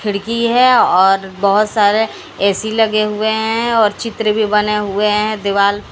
खिड़की हैं और बहोत सारे ए_सी लगे हुए हैं और चित्र भीं बने हुए हैं दीवाल --